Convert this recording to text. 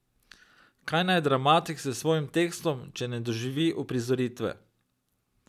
Kaj naj dramatik s svojim tekstom, če ne doživi uprizoritve?